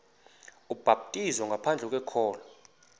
ubhaptizo ngaphandle kokholo